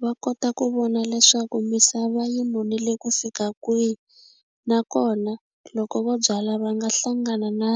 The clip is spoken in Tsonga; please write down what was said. Va kota ku vona leswaku misava yi nonile ku fika kwihi nakona loko vo byala va nga hlangana na